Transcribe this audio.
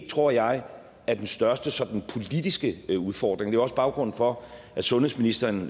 tror jeg er den største sådan politiske udfordring det er også baggrunden for at sundhedsministeren